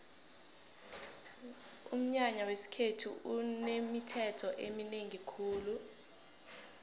umnyanya wesikhethu unemithetho eminengi khulu